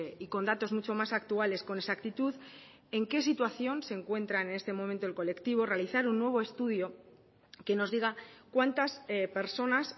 y con datos mucho más actuales con exactitud en qué situación se encuentran en este momento el colectivo realizar un nuevo estudio que nos diga cuántas personas